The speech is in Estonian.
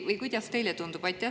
Või kuidas teile tundub?